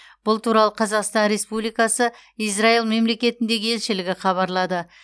бұл туралы қазақстан республикасы израил мемлекетіндегі елшілігі хабарлады